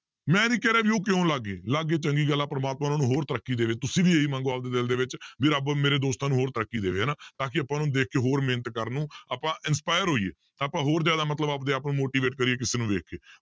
ਮੈਂ ਨੀ ਕਹਿ ਰਿਹਾ ਵੀ ਉਹ ਕਿਉਂ ਲੱਗ ਗਏ ਲੱਗ ਗਏ ਚੰਗੀ ਗੱਲ ਹੈ ਪ੍ਰਮਾਤਮਾ ਉਹਨਾਂ ਨੂੰ ਹੋਰ ਤਰੱਕੀ ਦੇਵੇ ਤੁਸੀਂ ਵੀ ਇਹੀ ਮੰਗੋ ਆਪਦੇ ਦਿਲ ਦੇ ਵਿੱਚ ਵੀ ਰੱਬ ਮੇਰੇ ਦੋਸਤਾਂ ਨੂੰ ਹੋਰ ਤਰੱਕੀ ਦੇਵੇ ਹਨਾ ਤਾਂ ਕਿ ਆਪਾਂ ਉਹਨੂੰ ਦੇਖ ਕੇ ਹੋਰ ਮਿਹਨਤ ਕਰਨ ਆਪਾਂ inspire ਹੋਈਏ ਆਪਾਂ ਹੋਰ ਜ਼ਿਆਦਾ ਮਤਲਬ ਆਪਦੇ ਆਪ ਨੂੰ motivate ਕਰੀਏ ਕਿਸੇ ਨੂੰ ਦੇਖ ਕੇ